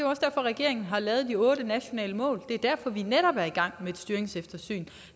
også derfor regeringen har lavet de otte nationale mål det er derfor vi netop er i gang med et styringseftersyn